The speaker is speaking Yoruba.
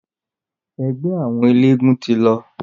Ẹgbẹ́ àwọn eléegún ti lọ.